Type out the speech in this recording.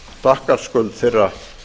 þakkarskuld þeirra